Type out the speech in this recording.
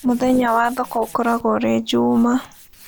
Mũthenya wa thoko ũkoragwo ũrĩ juma